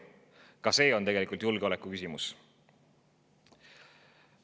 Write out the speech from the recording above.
Ka see on tegelikult julgeolekuküsimus.